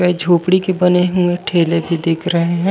ये झोपडी के बने हुए ठेले भी दिख रहे हे।